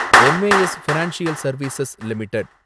M A S financial service limited